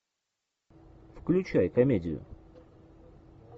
включай комедию